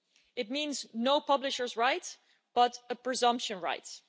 It means no publishers' rights, but presumption rights.